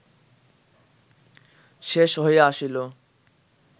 শেষ হইয়া আসিল